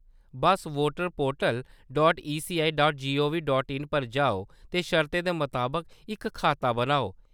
Bus voter portal dot ECI dot G O V dot in पर जाओ ते शर्तें दे मताबक इक खाता बनाओ।